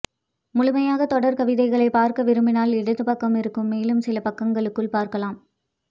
முழுமையாக தொடர் கவிதைகளை பார்க்க விரும்பினால் இடது பக்கம் இருக்கும் மேலும் சில பக்கங்களுக்குள் பார்க்கலாம்